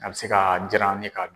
A bɛ se ka jiran ni ka dun.